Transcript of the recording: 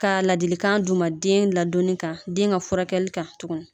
Ka ladilikan d'u ma den ladonni kan den ka furakɛli kan tuguni